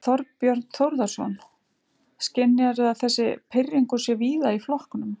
Þorbjörn Þórðarson: Skynjarðu að þessi pirringur sé víða í flokknum?